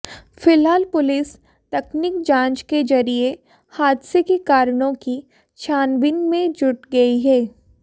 फिलहाल पुलिस तकनीक जांच के जरिये हादसे के कारणों की छानबीन में जुट गई है